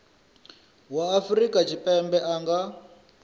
wa afrika tshipembe a nga